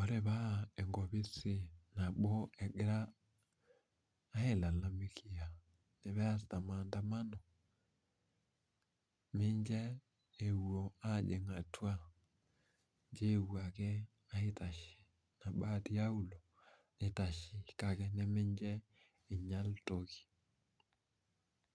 Ore paa enkopisi nabo egira ailalamikia peasita maandamano, mincho epuo aajing' atua, injo epuo ake aitashe naa tiaulo naa aitashe ake mincho einyal toki.